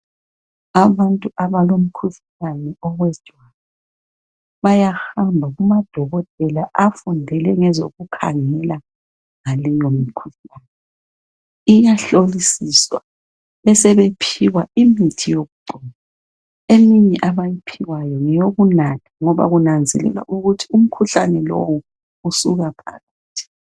Abantu abalomkhuhlane bayahamba kumadokotela afundele ngezokukhangela leyomkhuhlane iyahlolisiswa besebephiwa imthi yokugcoba besebephiwa owokunatha kunanzelelwa ukuthi umkhuhlane lowu usuka phakathi.